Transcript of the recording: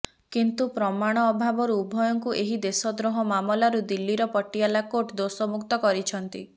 କିନ୍ତୁ ପ୍ରମାଣ ଅଭାବାରୁ ଉଭୟଙ୍କୁ ଏହି ଦେଶଦ୍ରୋହ ମାମଲାରୁ ଦିଲ୍ଲୀର ପଟିଆଲା କୋର୍ଟ ଦୋଷମୁକ୍ତ କରିଛନ୍ତି